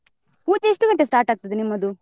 ಪೂಜೆ ಎಷ್ಟ್ ಗಂಟೆಗೆ start ಆಗ್ತದೆ ನಿಮ್ಮದು?